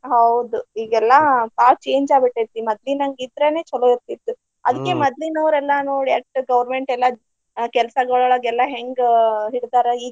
ಹಾ ಹೌದು ಈಗೆಲ್ಲಾ ಬಾಳ change ಆಗ್ಬಿಟ್ಟೆತಿ. ಮದ್ಲಿನಂಗ ಇದ್ರನ ಚೊಲೋ ಇರ್ತಿತ್ತು ಅದ್ಕೆ ಮದ್ಲಿನವ್ರ ಎಲ್ಲಾ ನೋಡ ಎಷ್ಟ್ government ಎಲ್ಲಾ ಆ ಕೆಲ್ಸಾಗಳೊಳಗ ಎಲ್ಲಾ ಹೆಂಗ ಹಿಡದಾರ.